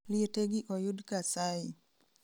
liete gi oyud kasai